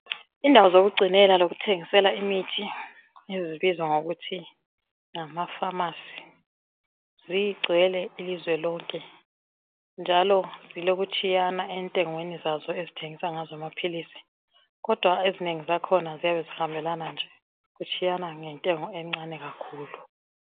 Indawo zokugcinela lokuthengisela imithi ezibizwa ngokuthi ngamafamasi zigcwele ilizwe lonke. Njalo zilokutshiyana entengweni zazo ezithengisa ngazo amaphilisi. Kodwa ezinengi zakhona ziyabe zihambelana nje, kutshiyana ngentengo encane kakhulu.